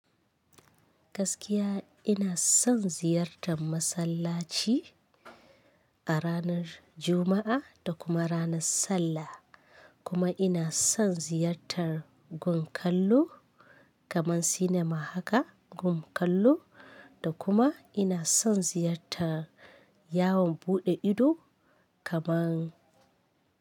Gaskiya ina son ziyartar masallaci a ranar Juma'a da kuma ranar Sallah. Kuma ina son ziyartar gun kallo kaman cinema haka, gun kallo da kuma ina son ziyartar yawon buɗe ido kaman.